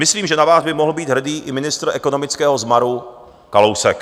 Myslím, že na vás by mohl být hrdý i ministr ekonomického zmaru Kalousek.